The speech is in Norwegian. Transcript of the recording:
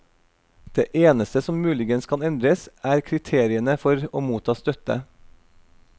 Det eneste som muligens kan endres, er kriteriene for å motta støtte.